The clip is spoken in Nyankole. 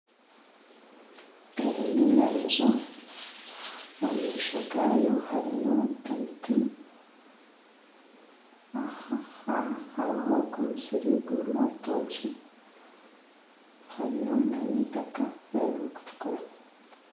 Eri neiramizo omu maisho garyo harimu emiti aha hariho omusiri gurimu orutookye hariyo nana itaka eririkutukura